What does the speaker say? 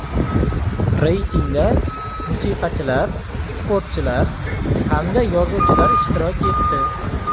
Reytingda musiqachilar, sportchilar hamda yozuvchilar ishtirok etdi.